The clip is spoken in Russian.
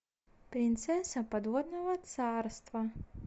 принцесса подводного царства